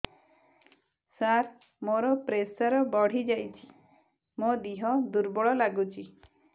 ସାର ମୋର ପ୍ରେସର ବଢ଼ିଯାଇଛି ମୋ ଦିହ ଦୁର୍ବଳ ଲାଗୁଚି